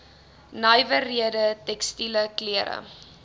nywerhede tekstiele klere